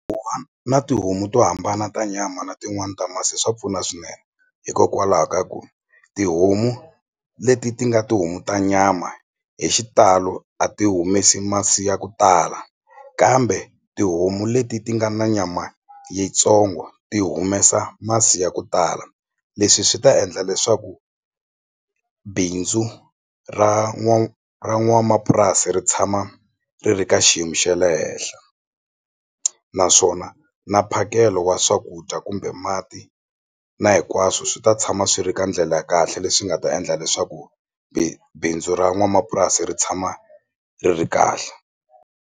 na tihomu to hambana ta nyama na tin'wani ta masi swa pfuna swinene hikokwalaho ka ku tihomu leti ti nga tihomu ta nyama hi xitalo a ti humesi masi ya ku tala kambe tihomu leti ti nga na nyama yitsongo ti humesa masi ya ku tala leswi swi ta endla leswaku bindzu ra ra n'wamapurasi ri tshama ri ri ka xiyimo xe le henhla naswona na mphakelo wa swakudya kumbe mati na hinkwaswo swi ta tshama swi ri ka ndlela ya kahle leswi nga ta endla leswaku bindzu ra n'wamapurasi ri tshama ri ri kahle.